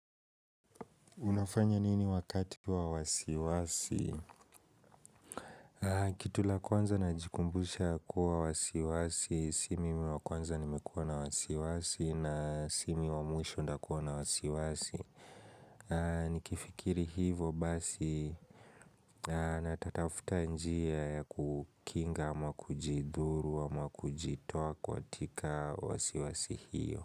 Unafanya nini wakati wa wasiwasi? Kitu ya kwanza najikumbusha kuwa wasiwasi, si mimi wa kwanza nimekuwa na wasiwasi na si mimi wa mwisho nitakuwa na wasiwasi. Nikifikiri hivyo basi natatafuta njia kukinga ama kujidhuru ama kujitoa katika wasiwasi hiyo.